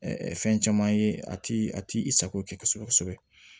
fɛn caman ye a ti a ti i sago kɛ kosɛbɛ kosɛbɛ